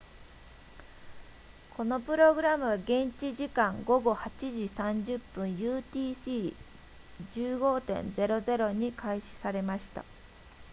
このプログラムは現地時間午後8時30分 utc 15.00 に開始されました